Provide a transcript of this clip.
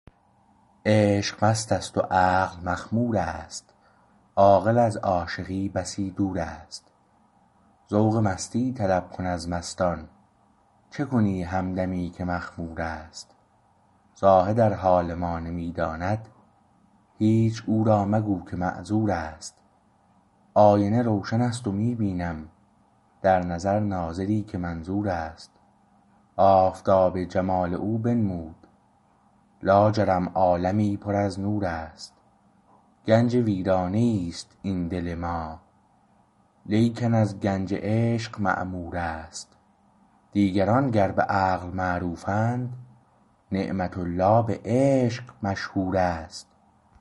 عشق مستست و عقل مخمور است عاقل از عاشقی بسی دور است ذوق مستی طلب کن از مستان چه کنی همدمی که مخمور است زاهد ار حال ما نمی داند هیچ او را مگو که معذور است آینه روشن است و می بینم در نظر ناظری که منظور است آفتاب جمال او بنمود لاجرم عالمی پر از نور است گنج ویرانه ای است این دل ما لیکن از گنج عشق معمور است دیگران گر به عقل معروفند نعمت الله به عشق مشهور است